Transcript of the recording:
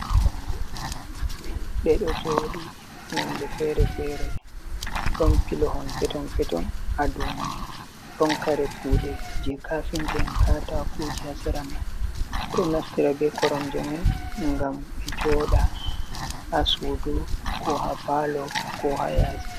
Koromje ɗe ɗo jooɗi nonde feere-feere. Ɗon pilohon peeton-peeton haa dow mai. Ɗon kare kuuɗe je kafinta en, katakooje haa sera man. Ɓe ɗo naftira be koromje mai ngam ɓe jooda, haa suudu ko haa paalo ko haa yaasi.